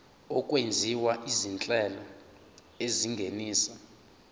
okwenziwa izinhlelo ezingenisa